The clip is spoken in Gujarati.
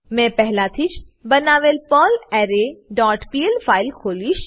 મેં પહેલાથી જ બનાવેલ પર્લરે ડોટ પીએલ ફાઈલ ખોલીશ